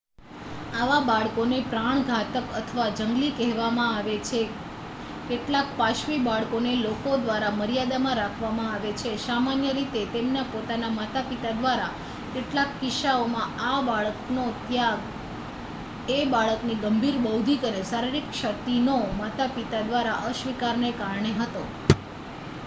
"આવા બાળકોને "પ્રાણઘાતક" અથવા જંગલી કહેવામાં આવે છે. કેટલાક પાશવી બાળકોને લોકો દ્વારા મર્યાદામાં રાખવામા આવે છે સામાન્ય રીતે તેમના પોતાના માતાપિતા દ્વારા; કેટલાક કિસ્સાઓમાં આ બાળકનો ત્યાગ એ બાળકની ગંભીર બૌદ્ધિક અથવા શારીરિક ક્ષતિનો માતાપિતા દ્વારા અસ્વીકારને કારણે હતો.